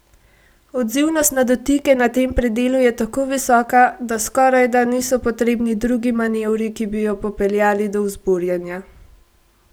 Odzivnost na dotike na tem predelu je tako visoka, da skorajda niso potrebni drugi manevri, ki bi jo popeljali do vzburjenja.